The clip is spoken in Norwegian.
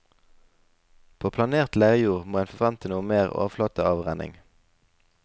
På planert leirjord må en forvente noe mer overflateavrenning.